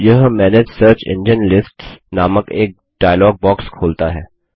यह manage search engine list नामक एक डायलॉग बॉक्स खोलता है